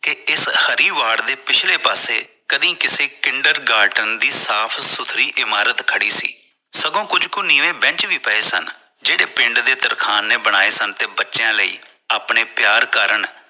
ਕਿ ਇਸ ਹਰੀ ਵਾਰਡ ਪਿਛਲੇ ਪਾਸੇ ਕਦੇ ਕਿਸੇ Kinder Garden ਦੀ ਸਾਫ਼ ਸੁਥਰੀ ਇਮਾਰਤ ਖੜੀ ਸੀ ਸਗੋਂ ਕੁੱਜ ਕੁ ਨੀਵੇਂ Bench ਵੀ ਪਏ ਸਨ